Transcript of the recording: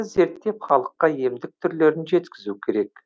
зерттеп халыққа емдік түрлерін жеткізу керек